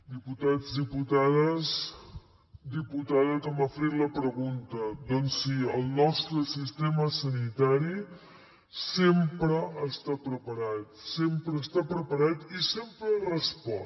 diputats diputades diputada que m’ha fet la pregunta doncs sí el nostre sistema sanitari sempre està preparat sempre està preparat i sempre respon